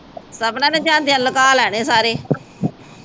ਸਪਨਾ ਨਾ ਜਾਂਦਿਆਂ ਲੁਕਾ ਲੈਣੇ ਆ ਸਾਰੇ